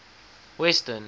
western